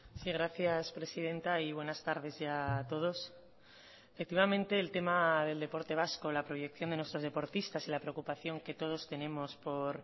sí gracias presidenta y buenas tardes ya a todos efectivamente el tema del deporte vasco la proyección de nuestros deportistas y la preocupación que todos tenemos por